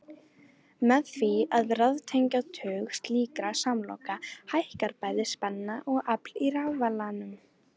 Með því að raðtengja tug slíkra samloka hækkar bæði spenna og afl í rafalanum.